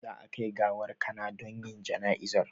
Za a kai gawar Kana don yin jana'izan